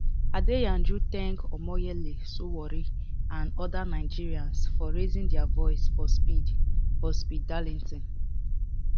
adeyanju thank omoyele sowore and oda nigerians for raising dia voice for speed for speed darlington